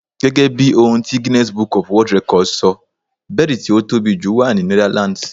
Gẹ́gẹ́ bí ohun ti Guinness Book of World records sọ, bẹ́ẹ̀dì tí ó tóbi jù wà ní Netherlands.